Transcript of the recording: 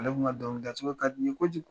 Ale kun ka dɔnkilida ka di n ye kojugu.